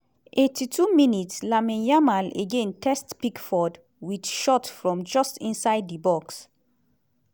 82 mins - lamine yamal again test pickford wit shot from just inside di box.